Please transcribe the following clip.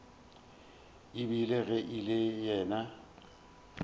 ebile ge e le yena